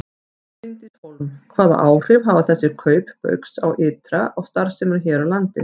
Bryndís Hólm: Hvaða áhrif hafa þessi kaup Baugs ytra á starfsemina hér á landi?